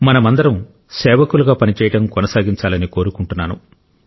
మనమందరం సేవకులుగా పనిచేయడం కొనసాగించాలని కోరుకుంటున్నాను